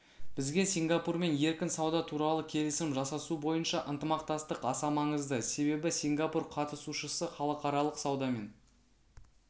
бізге сингапурмен еркін сауда туралы келісім жасасу бойынша ынтымақтастық аса маңызды себебі сингапур қатысушысы халықаралық саудамен